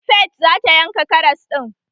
Faith zata yanka karas ɗin.